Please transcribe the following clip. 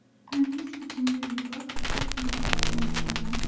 Nafis bichimli libos ipak matosidan tikilgan.